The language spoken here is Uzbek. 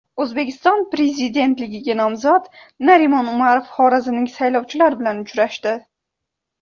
O‘zbekiston Prezidentligiga nomzod Narimon Umarov xorazmlik saylovchilar bilan uchrashdi.